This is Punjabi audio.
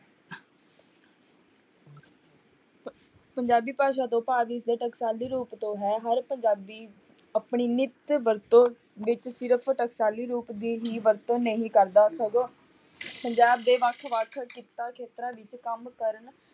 ਪੰਜਾਬੀ ਭਾਸ਼ਾ ਤੋਂ ਭਾਵ ਇਸਦੇ ਟਕਸ਼ਾਲੀ ਰੂਪ ਤੋਂ ਹੈ, ਹਰ ਪੰਜਾਬੀ ਆਪਣੀ ਨਿਤ ਵਰਤੋਂ ਵਿੱਚ ਸਿਰਫ਼ ਟਕਸ਼ਾਲੀ ਰੂਪ ਦੀ ਹੀ ਵਰਤੋਂ ਨਹੀਂ ਕਰਦਾ ਸਗੋਂ ਪੰਜਾਬ ਦੇ ਵੱਖ ਵੱਖ ਕਿੱਤਾ ਖੇਤਰਾਂ ਵਿੱਚ ਕੰਮ ਕਰਨ